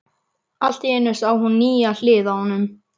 Allt í einu sá hún nýja hlið á honum.